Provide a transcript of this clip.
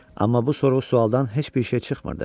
Amma bu sorğu-sualdan heç bir şey çıxmırdı.